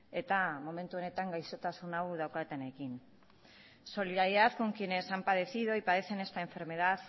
eta momentu honetan gaixotasun hau daukatenekin solidaridad con quienes han padecido y padecen esta enfermedad